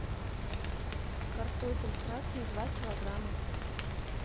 картофель красный два килограмма